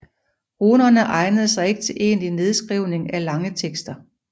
Runerne egnede sig ikke til egentlig nedskrivning af lange tekster